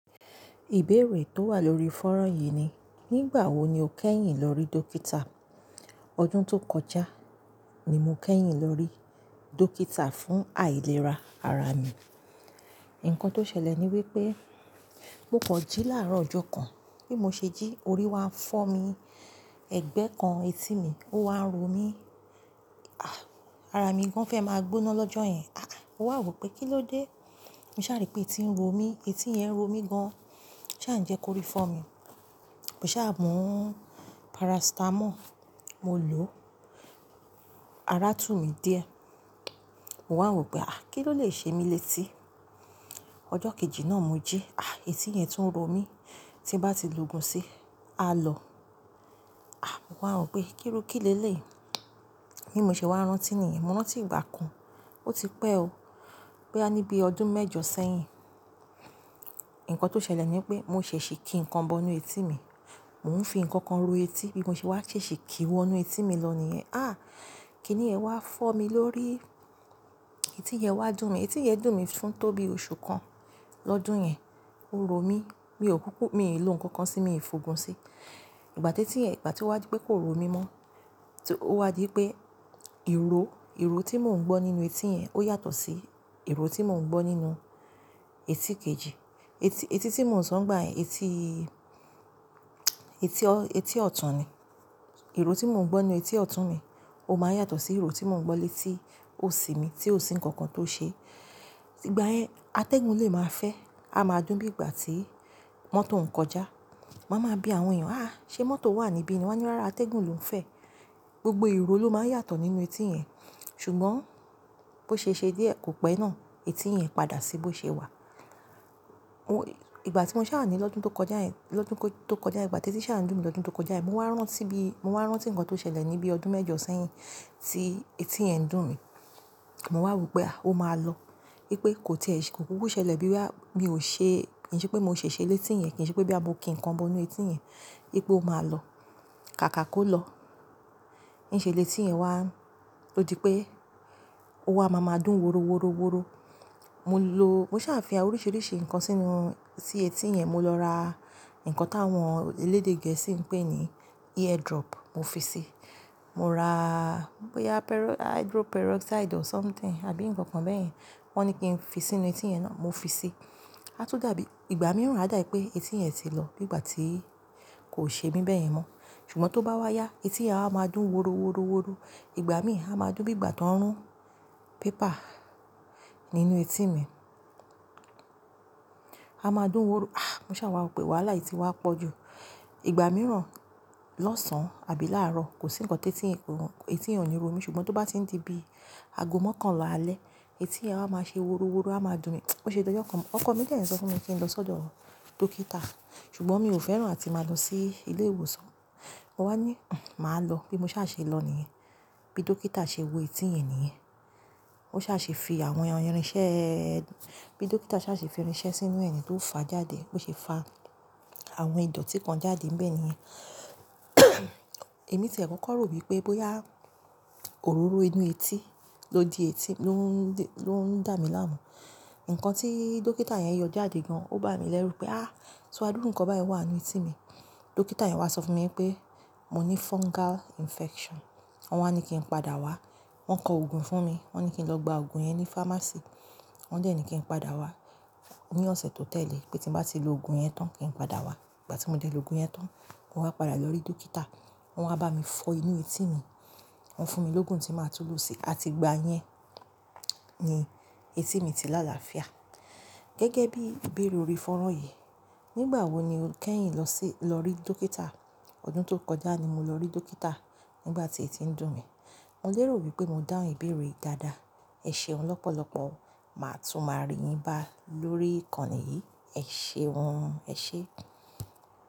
Ìbéèrè tó wà lórí fọ́nrán yìí ni, "Nígbà wo ni o kẹ́yìn lọrí dókítà?" Ọdún tó kọjá ni mo kẹ́yìn lọrí dókítà fún àìlera ara mi. Ǹkan tó ṣẹlẹ̀ ni wípé mo kan ji láàrọ̀ ọjọ́ kan, bí mo ṣe jí orí wa ń fọ́ mi, ẹ̀gbẹ́ kan etí mi ó wá ń ro mí. Ah! Ara mi gan fẹ́ máa gbóná lọ́jọ́ yẹn. Aà! Mo wà wò pé kí ló dé? Mo ṣà ri pé etí ń ro mí, etí yẹn ń ro mí gan. Ṣa ǹ jẹ́ kò rí fọ́ mi? Mo ṣà mu paracetamol, mo lò ó, ara tú mi díẹ̀. Mo wà wò pé àá kí ló lè ṣe mí létí? Ọjọ́ kejì náà mo jí, àh etí yẹn tún ń ro mí. Tí n bá ti logún sí, a lọ̀. À! Mo wà wò pé kírú kì lelèyi? Bí mo ṣe wá rántí nìyen, mo rántí ìgbà kan, ó ti pẹ́ o. Boya ní bí ọdún mẹ́jọ sẹ́yìn. Ǹkan tó ṣẹlẹ̀ ni wípé mo ṣèṣì kí nǹkan bọnu etí mi, mò ń fi ǹkankan ro etí bí mo ṣe wá ṣeṣi kí wọ́nú etí mi lọ nìyẹn. À! Kí ni yẹn wá fọ́ mi lórí? Etí yẹn wá dùn mí, etí yẹn dùn mí fún tó bí oṣù kan lọ́dún yẹn, ó ro mí, mi ò kúkú, mi ò lò nǹkan kan sí mi fògun sí. Ìgbà tí etí yẹ̀n, ìgbà tí ó wá dí pé kò ro mí mọ́, tí ó wá dí pé ìró, ìró tí mò ń gbọ́ nínú etí yẹn ó yàtọ̀ sí ìró tí mò ń gbọ́ nínú etí kejì. Eti, etí tí mò ń sọ́n nigbà yẹn, etí, etí ọ̀tún ni. Ìró tí mò ń gbọ́ nínú etí ọ̀tún mi ó máa n yàtọ̀ sí ìró tí mò ń gbọ́ létí òsì mi, tí òsì nǹkan kan tó ṣe. Ìgbà yẹn atẹ́gùn lè máa fẹ́, a máa dùn bí ìgbà tí mọ́tò ń kọjá. Ma máa bi àwọn èèyàn, "àá ṣe mọ́tò wà níbí ni?" Wọ́n á ní, "rára atẹ́gùn lò ń fẹ́." Gbogbo ìró ló máa yàtọ̀ nínú etí yẹn. Ṣùgbọ́n bó ṣe ṣe díẹ̀ kò pẹ́ náà etí yẹn padà sí bó ṣe wà. Oh! Ìgbà tí mo ṣà ni lọ́dún tó kọjá yẹn, lọ́dún tó kọjá yẹn, ìgbà tí ẹti ṣà ń dùn mí lọ́dún tó kọjá yẹn, mo wá rántí bí, mo wá rántí ǹkan tó ṣẹlẹ̀ ní bí ọdún mẹ́jọ sẹ́yìn tí etí yẹn dùn mí. Mo wà wò pé àá ó máa lọ. Wípé kò tìẹ́ṣẹ́, kò kúkú ṣẹlẹ̀ bíi boyaá, mi ò ṣe, kì í ṣe pé mò ṣe ṣe létí yẹn, kì í ṣe pé boyà mo kí nǹkan bọnu etí yẹn, wípé ó máa lọ. Kàkà kó lọ. Ní ṣe létí yẹn wá, ó di pé ó wá máa máa dùn woroworoworo. Mo lò, mo ṣà fín àwọn oríṣiríṣi nǹkan sínú, sí etí yẹn. Mo lọ ra nǹkan táwọn elédè Gẹ̀ẹ́sì ń pè ní ear drop mo fi sí. Mo ra bóyá pero-- hydro peroxide or something àbí nǹkan kan bẹ́yen Wọ́n ní kí n fi sínú etí yẹn náà, mo fi sí. A tún dàbí, ìgbà mìíràn a dàbí pé etí yẹn ti lọ niìgbà tí kò ṣe mí bẹ̀yẹn mọ́. Ṣùgbọ́n tó bá wá yá etí yẹn á wa máa dùn woroworoworo. Ìgbà mìí á máa dùn bí ìgbà tó ń rún pépà nínú etí mi. A máa dùn woro. À! Mo ṣà wà wò pé wàhálà yìí ti wá pọ̀ jù. Ìgbà mìíràn lọ́sàn ábí láàrọ̀ kò sí nǹkan tetí, etí yẹn ò ní ro mí. Ṣùgbọ́n tó bá n ti di bí aago mokanla alẹ́, etí yẹn á máa ṣe woroworo, á máa dùn mí. Ó ṣe dọ́jọ́ kan, ọkọ mi dẹ̀ ń sọ fún mi kí n lọ sọ́dọ̀ dókítà. Ṣùgbọ́n mi ò fẹ́ràn áti máa lọ sí ilé ìwòsàn. Mo wá ní, "N̄! Màá lọ." Bí mo ṣà ṣe lọ níyen, bí dókítà ṣe wo etí yẹn níyen, ó ṣà ṣe fi àwọn irinṣẹ́ẹ́, bí dókítà ṣà ṣe fi irinṣẹ́ sínú ẹ̀ niyen tó fa jáde. Bo ṣe fa àwọn ìdọ̀tí kan jáde nibẹ̀ niyẹn. Ẹ̀mí tiẹ́ kọ̀ko rò wípé bóyá òróró inú etí ló di etí ló ń dí, ló ń dà mí láàmú. Ǹkan tí dókítà yẹn yọ jáde gan, ó bá mi lẹ́rù pé, "Á! So adúrú nǹkan báyìí wà nínú etí mi." Dókítà yẹn wá sọ fún mi wípé mo ní fungal infection. Wọ́n wá ní kí n padà wá, wọ́n kọ òògùn fún mi. Wọ́n ní kí n lọ gba òògùn yẹn ní fámásìì. Wọ́n dẹ̀ ní kí n padà wá ní ọ̀sẹ̀ tó tẹ̀lé pé tí n bá ti lo òògùn yẹn tán kí n padà wá. Ìgbà tí mo dẹ̀ lọ òògùn yẹn tán, mo wá padà lọrí dókítà. Wọ́n wá bá mi fọ inú etí mi, wọ́n fún mi lóògùn tí màá tún lo sí. A ti gba yẹn, ni etí mi ti lá làáfíà. Gẹ́gẹ́ bí ìbéèrè orí fọ́nrán yìí, "Nígbà wo ni o kẹ́yìn lọ sí, lọrí dókítà?" Ọdún tó kọjá ni mo lọrí dókítà nígbà tí etí ń dùn mí. Mo lérò wípé mo dáhùn ìbéèrè yìí dáadáa. Ẹ ṣeun lọ́pọ̀lọ́pọ̀. Màá tún máa rí yín bá lórí ìkànnì yìí. Ẹ ṣeun. Ẹ ṣé.